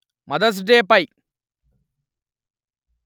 mothers day pi